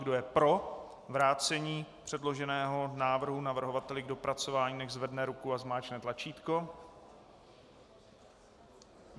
Kdo je pro vrácení předloženého návrhu navrhovateli k dopracování, nechť zvedne ruku a zmáčkne tlačítko.